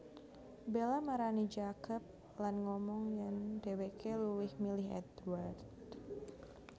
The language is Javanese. Bella marani Jacob lan ngomong yèn dhéwéké luwih milih Édward